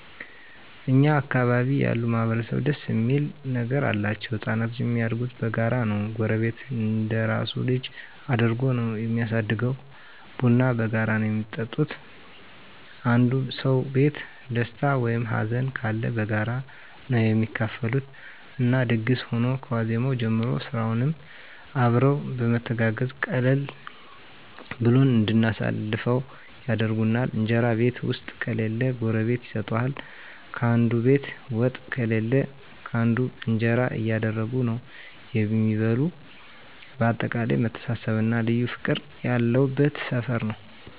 እኛ አካባቢ ያሉ ማህበረሰብ ደስ እሚል ነገር አላቸዉ። ህፃናቶች እሚያድጉት በጋራ ነዉ ጎረቤት እንደራሱ ልጅ አድርጎ ነዉ እሚያሳድገዉ፣ ቡና በጋራ ነዉ እሚጠጡት፣ አንዱ ሰዉ ቤት ደስታ ወይም ሀዘንም ካለ በጋራ ነዉ እሚካፈሉት እና ድግስ ሁኖ ከዋዜማዉ ጀምሮ ስራዉንም አብረዉ በመተጋገዝ ቀለል ብሎን እንድናልፈዉ ያደርጉናል። እንጀራ ቤት ዉስጥ ከሌለ ጎረቤት ይሰጡሀል፣ ካንዱ ቤት ወጥ ካለ ካንዱ እንጀራ እያደረጉ ነዉ እሚበሉ በአጠቃላይ መተሳሰብ እና ልዩ ፍቅር ያለበት ሰፈር ነዉ።